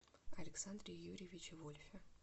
александре юрьевиче вольфе